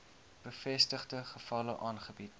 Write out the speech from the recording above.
bevestigde gevalle aangebied